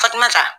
Fatumata